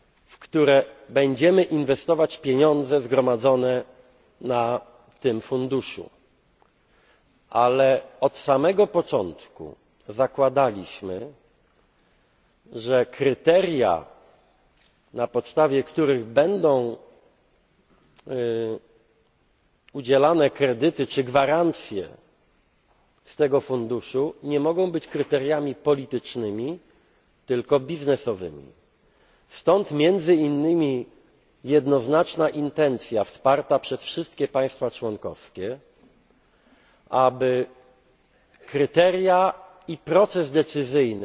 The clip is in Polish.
o części gospodarki, w które będziemy inwestować pieniądze zgromadzone na tym funduszu, ale od samego początku zakładaliśmy, że kryteria, na podstawie których będą udzielane kredyty czy gwarancje z tego funduszu, nie mogą być kryteriami politycznymi, tylko biznesowymi. Stąd między innymi jednoznaczna intencja, wsparta przez wszystkie państwa członkowskie, aby kryteria